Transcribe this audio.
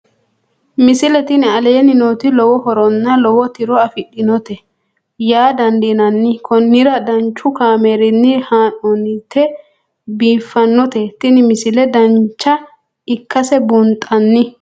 misile tini aleenni nooti lowo horonna lowo tiro afidhinote yaa dandiinanni konnira danchu kaameerinni haa'noonnite biiffannote tini misile dancha ikkase buunxanni